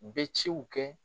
U bɛ ciw kɛ